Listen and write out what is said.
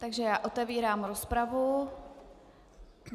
Takže já otevírám rozpravu.